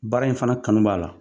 Baara in fana kanu b'a la.